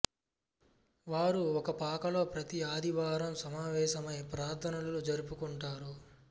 వారు ఒక పాకలో ప్రతి ఆదివారం సమావేశమై ప్రార్థనలు జరుపుకుంటారు